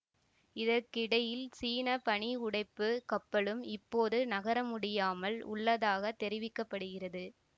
இதற்கிடையில் சீன பனி உடைப்பு கப்பலும் இப்போது நகர முடியாமல் உள்ளதாக தெரிவிக்க படுகிறது